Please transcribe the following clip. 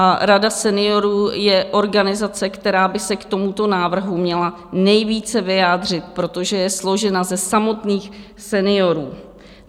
A Rada seniorů je organizace, která by se k tomuto návrhu měla nejvíce vyjádřit, protože je složena ze samotných seniorů.